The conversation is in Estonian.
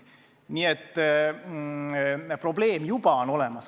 Nii et probleem juba on olemas.